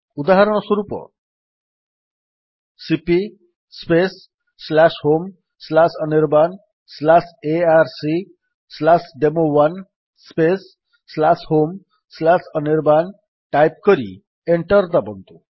ଉଦାହରଣ ସ୍ୱରୂପ cp homeanirbanarcdemo1 homeanirban type କରି ଏଣ୍ଟର୍ ଦାବନ୍ତୁ